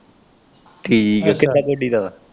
ਠੀਕ ਐ, ਕਿਦਾ ਗੋਡੀ ਦਾ ਵਾ।